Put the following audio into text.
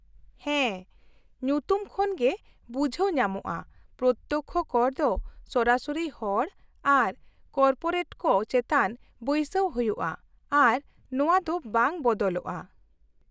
-ᱦᱮᱸ, ᱧᱩᱛᱩᱢ ᱠᱷᱚᱱᱜᱮ ᱵᱩᱡᱷᱟᱹᱣ ᱧᱟᱢᱚᱜᱼᱟ, ᱯᱨᱚᱛᱛᱚᱠᱽᱠᱷᱚ ᱠᱚᱨ ᱫᱚ ᱥᱚᱨᱟᱥᱚᱨᱤ ᱦᱚᱲ ᱟᱨ ᱠᱚᱨᱯᱳᱨᱮᱴᱠᱚ ᱪᱮᱛᱟᱱ ᱵᱟᱹᱭᱥᱟᱹᱣ ᱦᱩᱭᱩᱜᱼᱟ ᱟᱨ ᱱᱚᱶᱟ ᱫᱚ ᱵᱟᱝ ᱵᱚᱫᱚᱞᱚᱜᱼᱟ ᱾